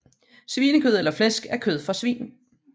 Svinekød eller flæsk er kød fra svin